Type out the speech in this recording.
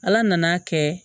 Ala nan'a kɛ